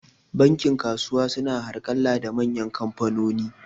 Bankin kasuwa su na harƙalla da manyan kamfanoni